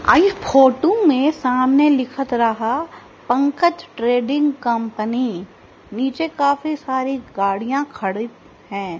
आ इ फोटु मे सामने लिखत रहा पंकज ट्रेडिंग कंपनी नीचे काफी सारी गाड़ियां खड़ी है।